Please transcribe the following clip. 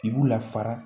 I b'u la fara